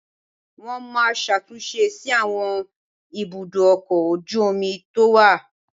Wọ́n máa ṣàtúnṣe sí àwọn ibùdó ọkọ̀ ojú omi tó wà